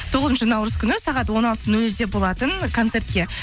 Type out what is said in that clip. тоғызыншы наурыз күні сағат он алты нөл нөлде болатын концертке